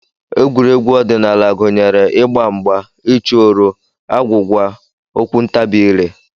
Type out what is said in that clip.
Egwuregwu ọdịnala gụnyere ịgba mgba, ịchụ oro, agwụgwa, okwuntabiire